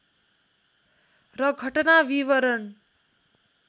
र घटना विवरण